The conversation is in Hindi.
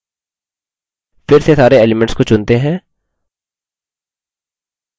फिर से सारे elements को चुनते हैं